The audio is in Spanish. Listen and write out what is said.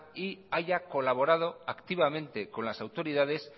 y haya colaborado activamente con las autoridades